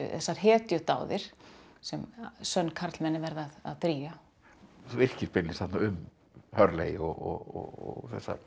þessar hetjudáðir sem sönn karlmenni verða að drýgja þú yrkir beinlínis þarna um Hurley og